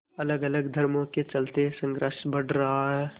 अलगअलग धर्मों के चलते संघर्ष बढ़ रहा है